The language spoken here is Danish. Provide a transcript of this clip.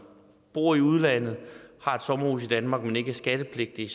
bor i udlandet og har et sommerhus i danmark men ikke er skattepligtige